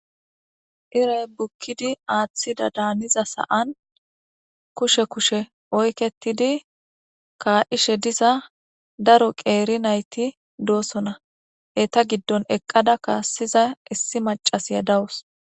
Irayi bukid aththidada Giza saan kushe kushe oyiketidi kaishe diza daro qer nayit dosona eyita giddoni eqada kasiza issi maccashshiya dawusi